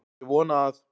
Ég vona að